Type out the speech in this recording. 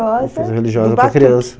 Uma festa religiosa para criança.